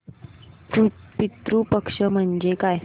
पितृ पक्ष म्हणजे काय